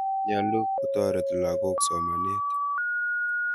Nyalu kotoret lagok somanet.